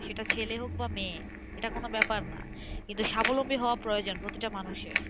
সেটা ছেলে হোক বা মেয়ে, এটা কোনো ব্যাপার না কিন্তু স্বাবলম্বী হওয়া প্রয়োজন প্রতিটা মানুষের